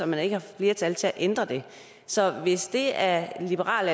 man ikke har flertal til at ændre det så hvis det er liberal